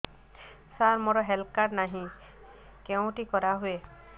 ସାର ମୋର health card ନାହିଁ କେଉଁଠି କରା ହୁଏ